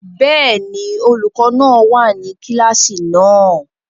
Bẹ́ẹ̀ni, olukọ náa wa ninu kilasi náà.